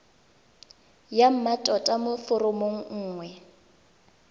ya mmatota mo foromong nngwe